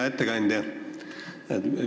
Hea ettekandja!